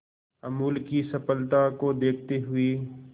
अमूल की सफलता को देखते हुए